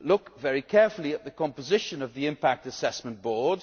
look very carefully at the composition of the Impact Assessment Board.